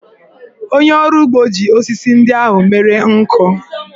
Onye ọrụ ugbo ji osisi ndị ahụ mere nkụ.